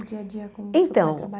O dia a dia como Então